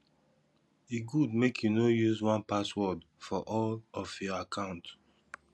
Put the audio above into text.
e good make you no use one password for all of your account